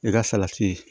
E ka salati